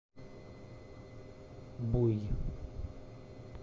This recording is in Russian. буй